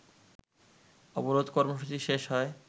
অবরোধ কর্মসূচি শেষ হয়